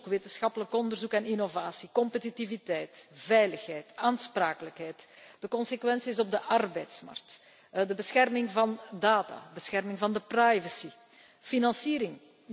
wetenschappelijk onderzoek en innovatie, competitiviteit, veiligheid, aansprakelijkheid, de consequenties op de arbeidsmarkt, databescherming, de bescherming van de privacy, financiering.